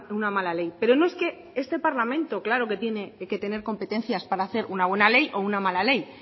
una mala ley pero es que no este parlamento claro que tiene que tener competencias para hacer una buena ley o una mala ley